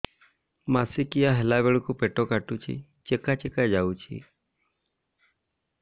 ମାସିକିଆ ହେଲା ବେଳକୁ ପେଟ କାଟୁଚି ଚେକା ଚେକା ଯାଉଚି